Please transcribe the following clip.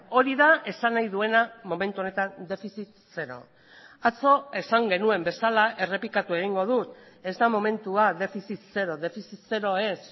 hori da esan nahi duena momentu honetan defizit zero atzo esan genuen bezala errepikatu egingo dut ez da momentua defizit zero defizit zero ez